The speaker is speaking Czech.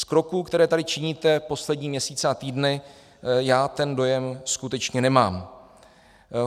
Z kroků, které tady činíte poslední měsíce a týdny, já ten dojem skutečně nemám.